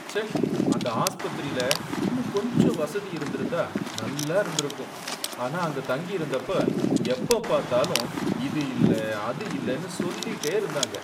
ச்சே! அந்த ஆஸ்பத்திரில இன்னும் கொஞ்சம் வசதி இருந்திருந்தா நல்லா இருந்திருக்கும், ஆனா நான் அங்க தங்கியிருந்தப்ப எப்பப் பார்த்தாலும் இது இல்ல அது இல்ல சொல்லிட்டே இருந்தாங்க